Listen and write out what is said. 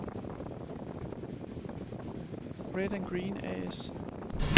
Red/Green A/S